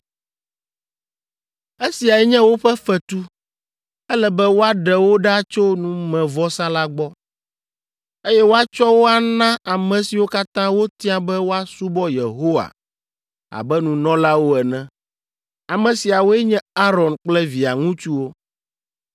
Esiae nye woƒe fetu! Ele be woaɖe wo ɖa tso numevɔsa la gbɔ, eye woatsɔ wo ana ame siwo katã wotia be woasubɔ Yehowa abe nunɔlawo ene. Ame siawoe nye Aron kple via ŋutsuwo,